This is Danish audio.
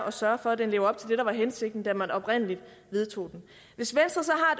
at sørge for at den lever op til det der var hensigten da man oprindelig vedtog den hvis venstre så